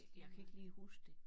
Jeg kan ikke lige huske det